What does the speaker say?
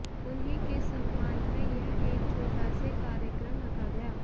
उन्ही के सम्मान में यह एक छोटा से कार्यक्रम रखा गया